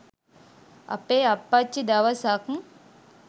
අපේ අප්පච්චි දවසක්